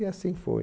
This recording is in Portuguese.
E assim foi.